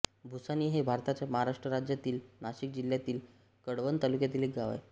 भुसाणी हे भारताच्या महाराष्ट्र राज्यातील नाशिक जिल्ह्यातील कळवण तालुक्यातील एक गाव आहे